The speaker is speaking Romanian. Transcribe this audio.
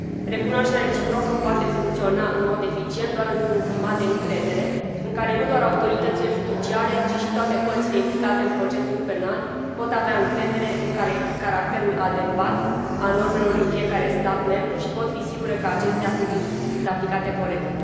Recunoașterea reciprocă poate funcționa în mod eficient doar într un climat de încredere, în care nu doar autoritățile judiciare, ci și toate părțile implicate în procesul penal pot avea încredere în caracterul adecvat al normelor din fiecare stat membru și pot fi sigure că acestea sunt aplicate corect.